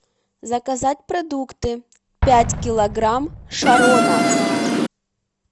заказать продукты пять килограмм шарона